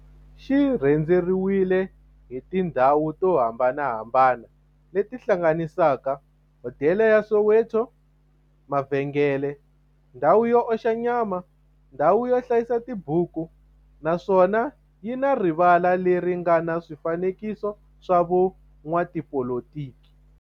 xi rhendzeriwile hi tindhawu to hambanahambana le ti hlanganisaka, hodela ya Soweto, mavhengele, ndhawu yo oxa nyama, ndhawu yo hlayisa tibuku, naswona yi na rivala le ri nga na swifanekiso swa vo n'watipolitiki.